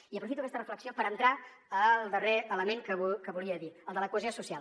i aprofito aquesta reflexió per entrar al darrer element que volia dir el de la cohesió social